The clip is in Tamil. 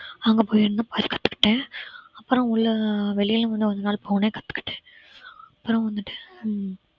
அங்க போய் என்ன கத்துக்கிட்டேன் அப்பறம் உள்ள வெளில வந்து கொஞ்ச நாள் போனே கத்துக்கிட்டேன் அப்பறம் வந்துட்டு ஹம்